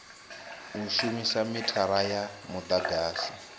u shumisa mithara ya mudagasi